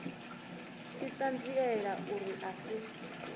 tshi ṱanziela uri a si